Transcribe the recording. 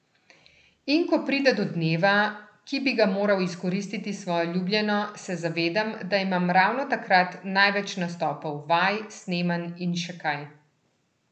In ko pride do dneva, ki bi ga moral izkoristiti s svojo ljubljeno, se zavedam, da imam ravno takrat največ nastopov, vaj, snemanj in še kaj.